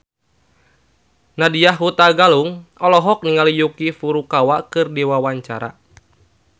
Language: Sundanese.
Nadya Hutagalung olohok ningali Yuki Furukawa keur diwawancara